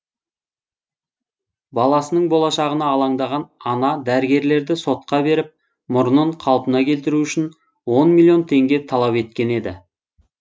баласының болашағына алаңдаған ана дәрігерлерді сотқа беріп мұрнын қалпына келтіру үшін он миллион теңге талап еткен еді